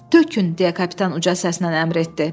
Tökün, deyə kapitan uca səslə əmr etdi.